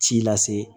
Ci lase